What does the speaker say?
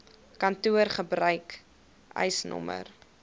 kantoor gebruik eisnr